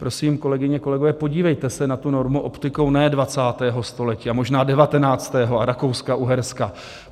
Prosím, kolegyně, kolegové, podívejte se na tu normu optikou ne 20. století, a možná 19. a Rakouska-Uherska.